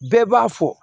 Bɛɛ b'a fɔ